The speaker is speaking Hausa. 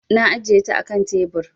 Na ajiye ta a kan tebir.